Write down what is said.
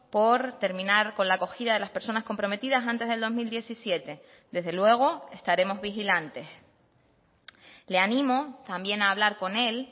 por terminar con la acogida de las personas comprometidas antes del dos mil diecisiete desde luego estaremos vigilantes le ánimo también a hablar con él